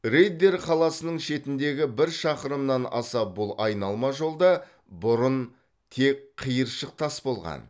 риддер қаласының шетіндегі бір шақырымнан аса бұл айналма жолда бұрын тек қиыршық тас болған